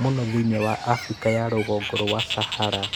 mũno thĩinĩ wa Afrika ya rũgongo rwa Sahara.